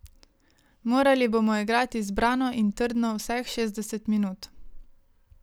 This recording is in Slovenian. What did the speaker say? Morali bomo igrati zbrano in trdno vseh šestdeset minut.